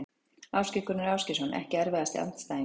Ásgeir Gunnar Ásgeirsson EKKI erfiðasti andstæðingur?